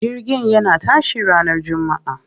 Jirgin yana tashi ranar jummaa.